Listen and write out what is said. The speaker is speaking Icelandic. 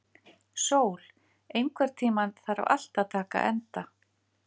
Sól, einhvern tímann þarf allt að taka enda.